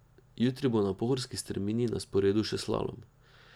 Jutri bo na pohorski strmini na sporedu še slalom.